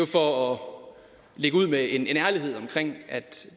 for at lægge ud med en ærlighed omkring at